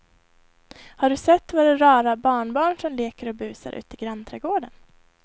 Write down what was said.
Har du sett våra rara barnbarn som leker och busar ute i grannträdgården!